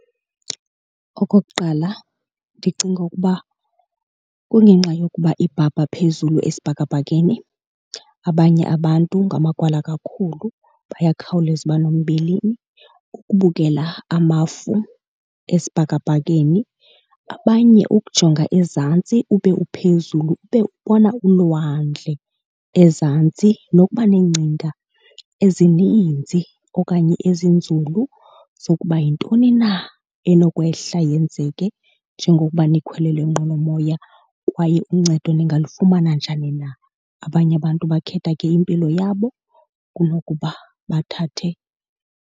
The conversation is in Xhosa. Okokuqala ndicinga ukuba kungenxa yokuba ibhabha phezulu esibhakabhakeni. Abanye abantu ngamagwala kakhulu, bayakhawuleza uba nombilini kukubukela amafu esibhakabhakeni. Abanye ukujonga ezantsi ube uphezulu ube ubona ulwandle ezantsi nokuba neengcinga ezininzi okanye ezinzulu zokuba yintoni na enokwehla yenzeke njengokuba nikhwele le nqwelomoya kwaye uncedo ningalifumana njani na. Abanye abantu bakhetha ke impilo yabo kunokuba bathathe.